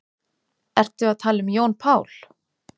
Ertu að tala um Jón Pál?